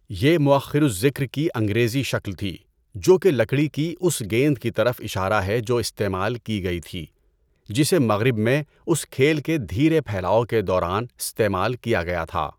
یہ مؤخر الذکر کی انگریزی شکل تھی، جو کہ لکڑی کی اس گیند کی طرف اشارہ ہے جو استعمال کی گئی تھی، جسے مغرب میں اس کھیل کے دھیرے پھیلاؤ کے دوران استعمال کیا گیا تھا۔